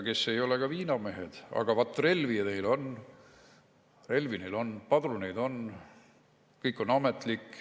Nad ei ole viinamehed, aga vat relvi neil on, relvi on, padruneid on, kõik on ametlik.